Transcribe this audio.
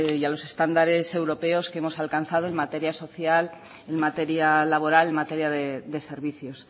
y a los estándares europeos que hemos alcanzado en materia social en materia laboral en materia de servicios